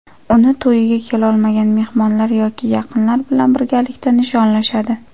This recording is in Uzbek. Uni to‘yga kelolmagan mehmonlar yoki yaqinlar bilan birgalikda nishonlashadi.